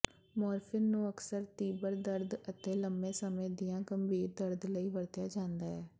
morphine ਨੂੰ ਅਕਸਰ ਤੀਬਰ ਦਰਦ ਅਤੇ ਲੰਮੇ ਸਮੇਂ ਦੀਆਂ ਗੰਭੀਰ ਦਰਦ ਲਈ ਵਰਤਿਆ ਜਾਂਦਾ ਹੈ